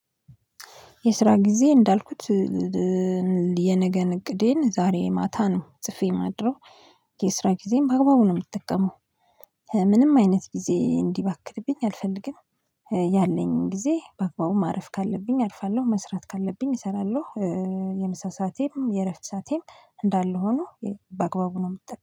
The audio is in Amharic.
የስራ ጊዜ እንዳልኩት የነገን እቅዴን ዛሬ ማታ ነው ጽፌ ማድረው የስራ ጊዜም በአግባቡ ነው ምጠቀመው ምንም አይነት ጊዜ እንዲባክንብኝ አልፈልግም። ያለኝ ጊዜ በአግባቡ ማረፍ ካለብኝ አርፋለሁ መስራት ካለብኝ እሰራለሁ የምሳ ሰአቴን፤ የእረፍት ሰዓቴም እንዳለ ሆኖ በአግባቡ ነው ምጠቀመው